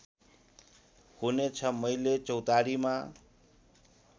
हुनेछ मैले चौतारीमा